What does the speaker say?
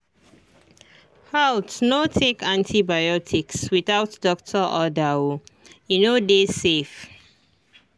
haltno take antibiotics without doctor order oe no dey safe